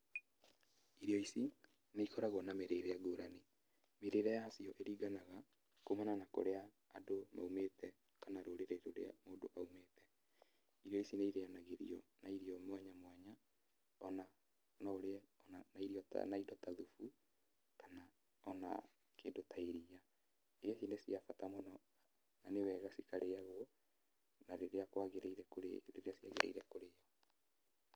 Irio ici nĩ ikoragwo na mĩrĩre ngũrani. Mĩrĩre yacio ĩringanga kumana na ũrĩa andũ maumĩte, kana rũrĩrĩ rũrĩa mũndũ aumĩte. Irio ici nĩ irĩyanagĩrio na irio mwanyamwanya ona no ĩrĩe ona na irio ta na indo ta thubu kana ona kĩndũ ta iria. Irio ici nĩ cia bata mũno, na nĩwega cikarĩagwo na rĩrĩa kwagĩrĩire rĩrĩa ciagĩrĩire kũrĩo.